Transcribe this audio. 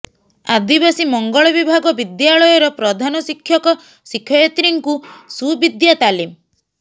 ଆଦିବାସୀ ମଙ୍ଗଳବିଭାଗ ବିଦ୍ୟାଳୟର ପ୍ରଧାନ ଶିକ୍ଷକ ଶିକ୍ଷଯତ୍ରୀ ଙ୍କୁ ସୁବିଦ୍ୟା ତାଲିମ